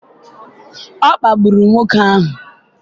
ọ kpagburu nwoke ahụ?